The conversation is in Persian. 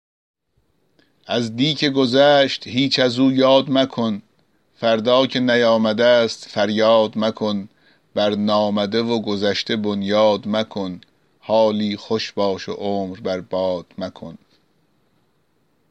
از دی که گذشت هیچ از او یاد مکن فردا که نیامده ست فریاد مکن بر نامده و گذشته بنیاد مکن حالی خوش باش و عمر بر باد مکن